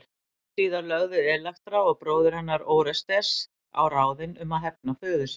Síðar lögðu Elektra og bróðir hennar Órestes á ráðin um að hefna föður síns.